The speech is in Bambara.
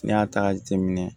N'i y'a ta k'a jateminɛ